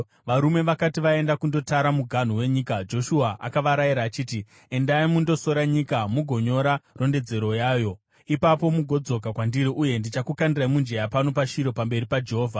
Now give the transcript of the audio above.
Varume vakati vaenda kundotara muganhu wenyika, Joshua akavarayira achiti, “Endai mundosora nyika mugonyora rondedzero yayo. Ipapo mugodzoka kwandiri, uye ndichakukandirai mujenya pano paShiro pamberi paJehovha.”